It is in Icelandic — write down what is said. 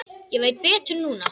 Ég veit betur núna.